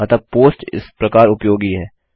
अतः पोस्ट इस प्रकार उपयोगी है